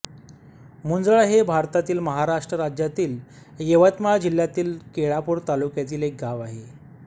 मुंझळा हे भारतातील महाराष्ट्र राज्यातील यवतमाळ जिल्ह्यातील केळापूर तालुक्यातील एक गाव आहे